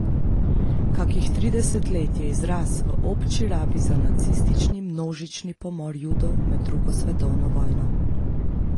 Kakih trideset let je izraz v obči rabi za nacistični množični pomor Judov med drugo svetovno vojno.